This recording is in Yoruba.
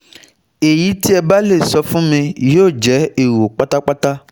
Ẹ̀yí tí ẹ̀ bá le sọ fún mi yóò jẹ́ èrò pátápátá